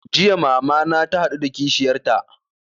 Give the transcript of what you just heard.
Jiya mama na ta haɗu da kishiyar ta